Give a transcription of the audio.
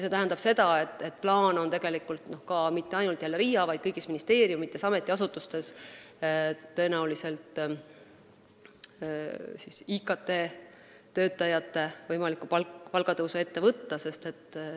See tähendab seda, et ilmselt on plaanis kõigis ministeeriumides ja ametiasutustes IKT-töötajate palka tõsta.